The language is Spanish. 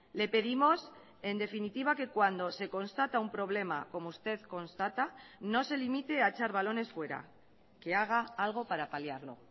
le pedimos en definitiva que cuando se constata un problema como usted constata no se limite a echar balones fuera que haga algo para paliarlo